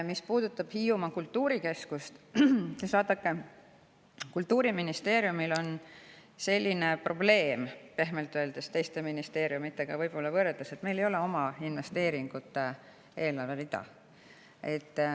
Mis puudutab Hiiumaa kultuurikeskust, siis vaadake, Kultuuriministeeriumil on teiste ministeeriumidega võrreldes selline probleem, pehmelt öeldes, et meil ei ole eelarves oma investeeringute rida.